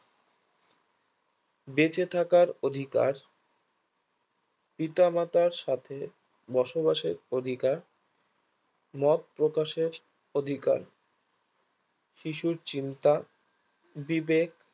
বেঁচে থাকার অধিকার পিত মাতার সাথে বসবাসের অধিকার মত প্রকাশের অধিকার শিশুর চিন্তা বিবেক বেঁচে থাকার অধিকার